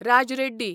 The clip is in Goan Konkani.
राज रेड्डी